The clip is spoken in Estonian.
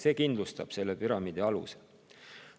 See kindlustab selle püramiidi aluse.